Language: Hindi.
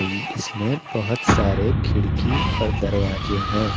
इसमें बहुत सारे खिड़की और दरवाजे हैं।